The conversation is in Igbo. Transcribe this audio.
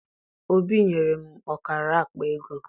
Obi nyere m ọkara akpaego.